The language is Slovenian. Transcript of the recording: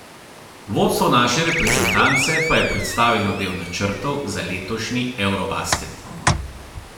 Vodstvo naše reprezentance pa je predstavilo del načrtov za letošnji eurobasket.